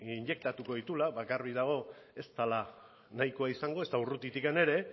injektatuko dituela ba garbi dago ez dela nahikoa izango ezta urrutitik ere